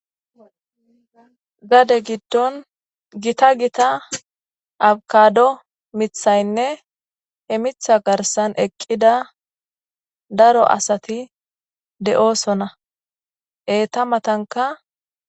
Gade giddon gita gita abakado mithaynne hemitha garsan eqqida daro asati de'oosona eeta matanka...